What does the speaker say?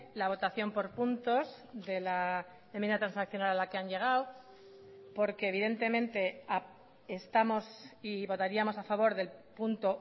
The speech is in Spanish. la votación por puntos de la enmienda transaccional a la que han llegado porque evidentemente estamos si votaríamos a favor del punto